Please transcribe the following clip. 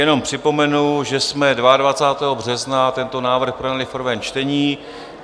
Jenom připomenu, že jsme 22. března tento návrh projednali v prvém čtení.